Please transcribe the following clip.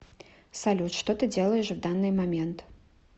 салют что ты делаешь в данный момент